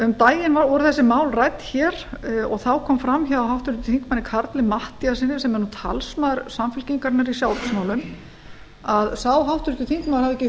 um daginn voru þessi mál rædd hér og þá kom fram hjá háttvirtum þingmanni karli matthíassyni sem er nú talsmaður samfylkingarinnar í sjávarútvegsmálum að sá háttvirtur þingmaður hafði ekki